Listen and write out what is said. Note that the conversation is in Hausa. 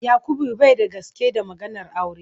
Yakubu bai da gaske da maganar aure.